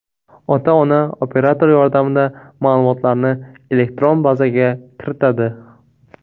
Ota-ona operator yordamida ma’lumotlarni elektron bazaga kiritadi.